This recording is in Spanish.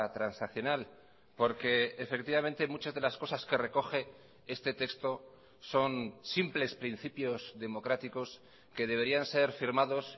transaccional porque efectivamente muchas delas cosas que recoge este texto son simples principios democráticos que deberían ser firmados